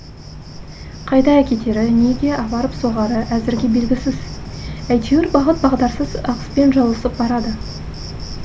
қайда әкетері неге апарып соғары әзірге белгісіз әйтеуір бағыт бағдарсыз ағыспен жылысып барады